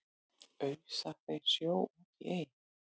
ausa þeir sjó út í ey